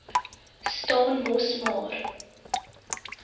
staan mos maar